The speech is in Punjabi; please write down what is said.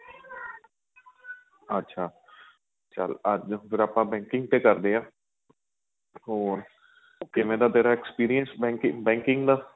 ਅੱਛਾ ਚੱਲ ਅੱਜ ਫ਼ਿਰ ਆਪਾਂ banking ਤੇ ਕਰਦੇ ਹਾਂ ਹੋਰ ਕਿਵੇਂ ਦਾ ਤੇਰਾ experience banking banking ਦਾ